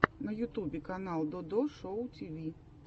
на ютубе канал додо шоу тиви